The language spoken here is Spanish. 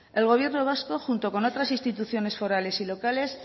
el gobierno vasco junto con otras instituciones forales y locales